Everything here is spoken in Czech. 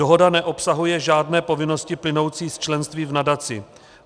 Dohoda neobsahuje žádné povinnosti, plynoucí z členství v nadaci.